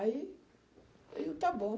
Aí, eu, está bom.